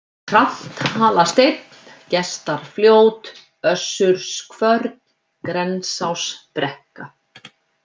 Tranthalasteinn, Gestarfljót, Össurskvörn, Grensásbrekka